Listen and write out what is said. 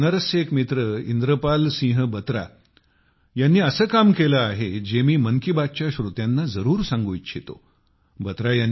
माझ्या बनारसचे एक मित्र इंद्रपाल सिंह बत्रा यांनी असे काम केले आहे जे मी मन की बात च्या श्रोत्यांना जरूर सांगू इच्छितो